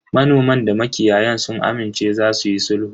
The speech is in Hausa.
Manoman da makiyayan sun amince za suyi sulhu.